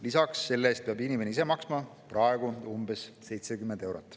Lisaks, selle eest peab inimene ise maksma praegu umbes 70 eurot.